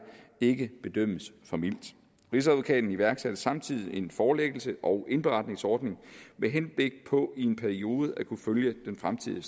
ikke bedømmes for mildt rigsadvokaten iværksatte samtidig en forelæggelse og indberetningsordning med henblik på i en periode at kunne følge den fremtidige